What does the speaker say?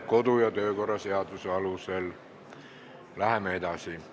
Kodu- ja töökorra seaduse alusel läheme nendega edasi.